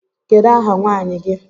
Kedu ahà nwaanyị gi?